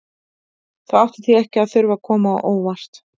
Það átti því ekki að þurfa að koma á óvart að